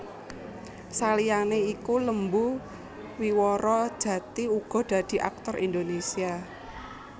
Saliyané iku Lembu Wiworo Jati uga dadi aktor Indonésia